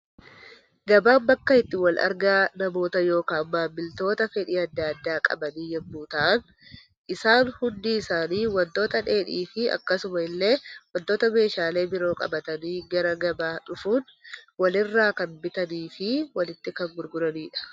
Gabaan bakka itti wal argaa namoota yookaan maamiloota fedhii addaa addaa qabanii yemmuu ta'an, isaan hundi isaanii waantota dheedhii fi akkasuma illee waantota meeshaalee biroo qabatanii gara gabaa dhufuun walirra kan bitanii fi walitti kan gurguranidha.